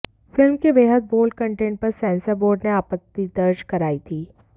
film के बेहद bold content पर सेंसर बोर्ड ने आपत्ति दर्ज कराई थी